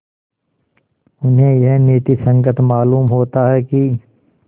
उन्हें यह नीति संगत मालूम होता है कि